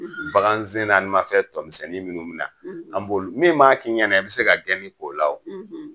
Bagan sen naani ma fɛn tɔmisɛnnin minnu bi na an b'olu min maa kɛ i ɲɛna i be se ka gɛni k' o la